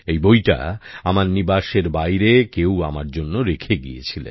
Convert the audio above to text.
এই বইটা আমার বাড়ির বাইরে কেউ আমার জন্য রেখে গিয়েছিল